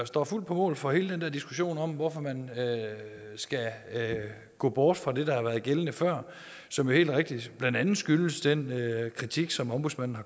står fuldt på mål for hele den der diskussion om hvorfor man skal gå bort fra det der har været gældende før som jo helt rigtigt blandt andet skyldes den kritik som ombudsmanden